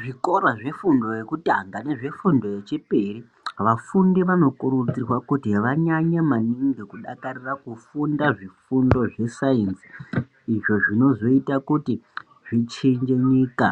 Zvikora zvefundo yekutanga nezvefundo yechipiri vafundi vanokurudzirwa kuti vanyanye maningi kudakarira kufunda zvifundo zvesainzi izvo zvinozoite kuti zvichinje nyika